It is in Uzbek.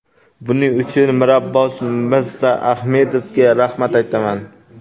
Buning uchun Mirabbos Mirzaahmedovga rahmat aytaman.